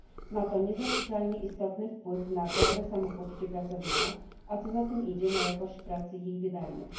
Ma to niezaprzeczalnie istotny wpływ na dobre samopoczucie pracownika, a co za tym idzie, na jakość pracy i jej wydajność.